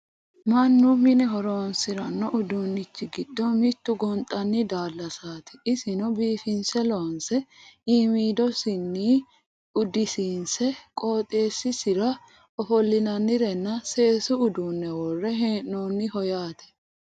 mannu mine horonsiranno uduunnichi giddo mittu gonxanni daallasati isino biifinse loonse iimmidosiinni uddisiinse qotisira ofollinannirenna seesu uduunne worre hee'noonniho yaate